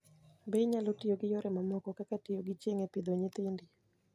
Be inyalo tiyo gi yore mamoko kaka tiyo gi chieng' e pidho nyithindi?